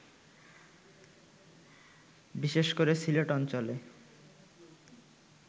বিশেষ করে সিলেট অঞ্চলে